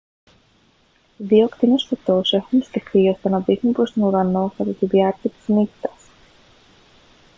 δύο ακτίνες φωτός έχουν στηθεί ώστε να δείχνουν προς τον ουρανό κατά τη διάρκεια της νύχτας